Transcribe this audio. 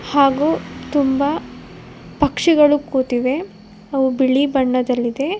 ಹಾಗು ತುಂಬ ಪಕ್ಷಿಗಳು ಕೂತಿವೆ ಅವು ಬಿಳಿ ಬಣ್ಣದಲ್ಲಿದೆ.